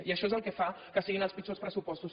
i això és el que fa que siguin els pitjors pressupostos